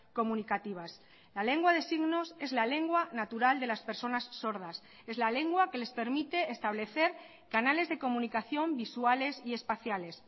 comunicativas la lengua de signos es la lengua natural de las personas sordas es la lengua que les permite establecer canales de comunicación visuales y espaciales